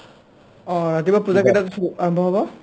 অ ৰাতিপুৱা পূজা কেইটাত আৰম্ভ হ'ব ?